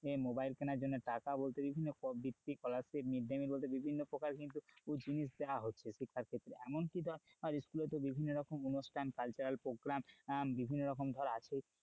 mobile কিনার জন্য টাকা বিভিন্ন scholarship, mid day mill বলতে বিভিন্ন প্রকার কিন্তু প্রচুর জিনিস দেওয়া হচ্ছে শিক্ষার ক্ষেত্রে, এমনকি ধর স্কুলে তো বিভিন্ন রকম অনুষ্ঠান cultural program বিভিন্ন রকম ধর আছেই,